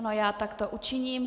Ano, já takto učiním.